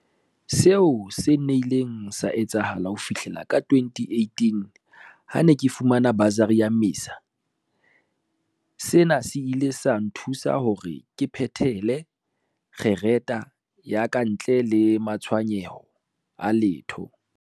Seo se nnile sa etsahala ho fihlela ka 2018 ha ke ne ke fumana basari ya MISA. Sena se ile sa nthusa hore ke phethele kgerata ya ka ntle le matshwenyeho a letho.